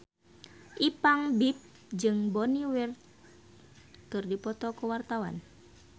Ipank BIP jeung Bonnie Wright keur dipoto ku wartawan